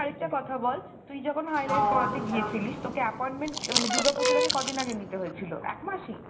আরেকটা কথা বল , তুই যখণ highlight করাতে গিয়েছিলিস তোকে appoinment মানে দূর্গা পুজোর আগে কদিন আগে নিতে হয়েছিল ? এক মাস ই?